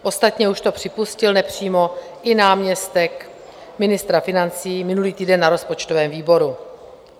Ostatně už to připustil nepřímo i náměstek ministra financí minulý týden na rozpočtovém výboru.